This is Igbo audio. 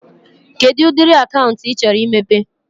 Kedụ ụdịrị akaụntụ ị chọrọ imepe?